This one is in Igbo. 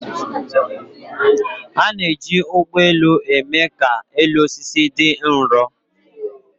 A na-eji ụgbọ elu eme ka elu osisi dị nro